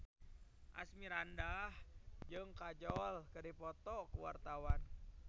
Asmirandah jeung Kajol keur dipoto ku wartawan